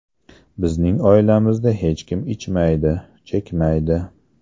Bizning oilamizda hech kim ichmaydi, chekmaydi.